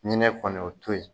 Ɲinɛ kɔni, o to yen.